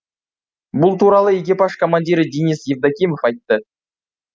бұл туралы экипаж командирі денис евдокимов айтты